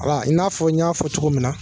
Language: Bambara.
A i n'a fɔ n y'a fɔ cogo min na